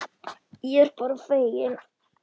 Ég er bara feginn.